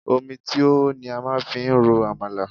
Omi tí ó hó ni a máa fi ń ro Àmàlà.